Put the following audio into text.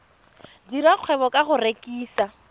dira kgwebo ka go rekisa